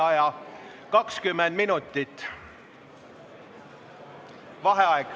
Vaheaeg 20 minutit.